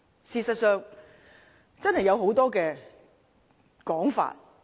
事實上，真的有很多說法。